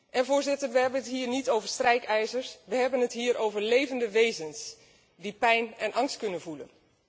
En we hebben het hier niet over strijkijzers, we hebben het hier over levende wezens die pijn en angst kunnen voelen.